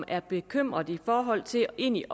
er bekymrede i forhold til egentlig